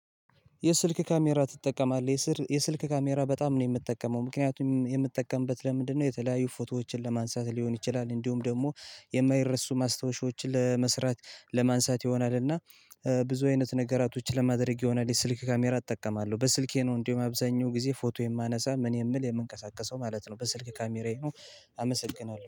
የስልክ ካሜራ ትጠቀማለህ የስልክ ካሜራ በጣም ነው የምትጠቀመው ምክንያቱም የምትጠቀምበት ለምንድነው? የተለያዩ ፎቶዎችን ለማንሳት ሊሆን ይችላል እንዲሁም ደግሞ የማይረሱ ማስታወሻዎችን ለመስራት ለማንሳት ይሆናል። እና ብዙ አይነት ነገራቶች ለማድረግ ይሆናል። የስልክ ካሜራ እጠቀማለሁ በስልኬ ነው እንደሁም አብዛኛው ጊዜ ፎቶ የማነሳ ምን የምል የምንቀሳቀሰው ማለት ነው። በስልክ ካሜራዬ ካሜራዬ ነው። አመሰግናለሁ